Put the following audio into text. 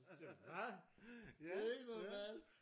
Siger hvad? Det er ikke normalt!